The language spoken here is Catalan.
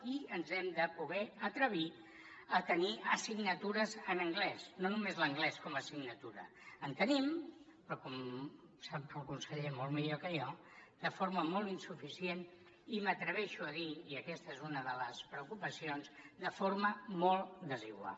i ens hem de poder atrevir a tenir assignatures en anglès no només l’anglès com a assignatura en tenim però com sap el conseller molt millor que jo de forma molt insuficient i m’atreveixo a dir i aquesta és una de les preocupacions que de forma molt desigual